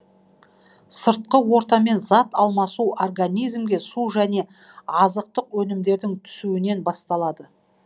сыртқы ортамен зат алмасу организмге су және азқтық өнімдердің түсуінен басталады